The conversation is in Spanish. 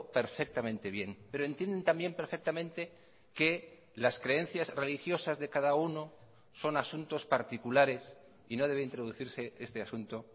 perfectamente bien pero entienden también perfectamente que las creencias religiosas de cada uno son asuntos particulares y no debe introducirse este asunto